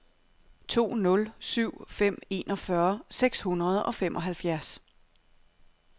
to nul syv fem enogfyrre seks hundrede og femoghalvfjerds